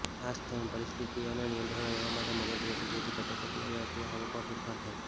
આ તમને પરિસ્થિતિઓમાં નિયંત્રણમાં રહેવા માટે મદદ કરશે જેથી કટોકટી આવે અથવા આવકમાં ફેરફાર થાય